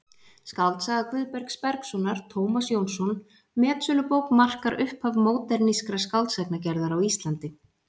Skáldsaga Guðbergs Bergssonar, Tómas Jónsson: metsölubók markar upphaf módernískrar skáldsagnagerðar á Íslandi.